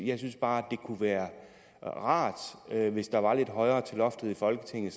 jeg synes bare at det kunne være rart hvis der var lidt højere til loftet i folketinget